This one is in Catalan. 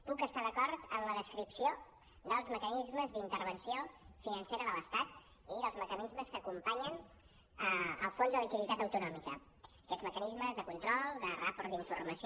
puc estar d’acord amb la descripció dels mecanismes d’intervenció financera de l’estat i dels mecanismes que acompanyen el fons de liquiditat autonòmica aquests mecanismes de control de rapport d’informació